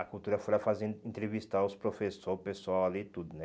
A cultura foi lá fazer entrevistar os professor, o pessoal ali e tudo, né?